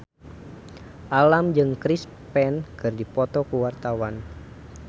Alam jeung Chris Pane keur dipoto ku wartawan